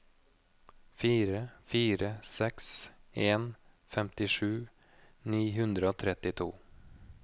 fire fire seks en femtisju ni hundre og trettito